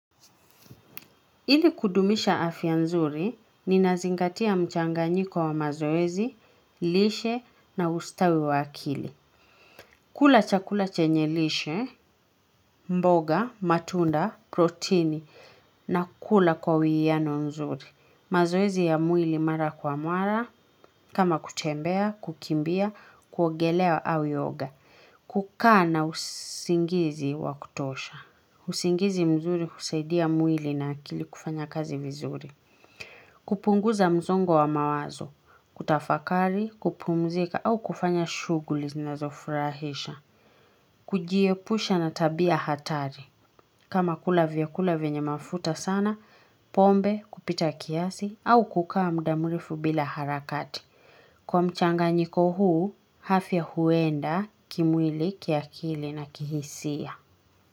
Ili kudumisha afya nzuri, ninazingatia mchanganyiko wa mazoezi, lishe na ustawi wa akili. Kula chakula chenye lishe, mboga, matunda, protini na kula kwa uwiano nzuri. Mazoezi ya mwili mara kwa mwara, kama kutembea, kukimbia, kuogelea au yoga. Kukaa na usingizi wa kutosha. Usingizi mzuri usaidia mwili na akili kufanya kazi vizuri. Kupunguza msongo wa mawazo, kutafakari, kupumzika au kufanya shughuli zinazofurahisha. Kujiepusha na tabia hatari. Kama kula vyakula vyenye mafuta sana, pombe, kupita kiasi au kukaa muda mrefu bila harakati. Kwa mchanganyiko huu, afya huenda, kimwili, kiakili na kihisia.